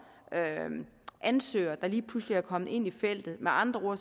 ansøgere der lige pludselig er kommet ind i feltet med andre